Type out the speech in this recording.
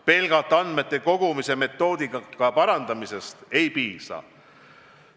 Pelgalt andmete kogumise metoodika parandamisest ei piisa.